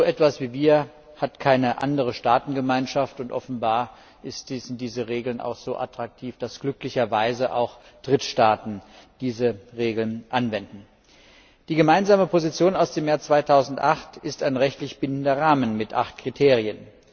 So etwas wie wir hat keine andere Staatengemeinschaft, und offenbar sind diese Regeln auch so attraktiv, dass glücklicherweise auch Drittstaaten diese Regeln anwenden. Der Gemeinsame Standpunkt aus dem Jahr 2008 ist ein rechtlich bindender Rahmen mit acht Kriterien.